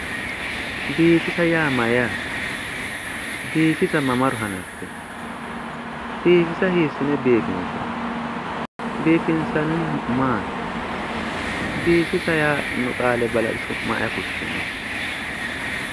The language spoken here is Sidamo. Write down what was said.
Biifisa yaa mayyaate? biifisa mamaro hanaffewo? biifisa hiissi'ne biifinsanni? biifinsannihu maati? biifisa yaanno qaale balaxe su'ma ayi fushsheewo?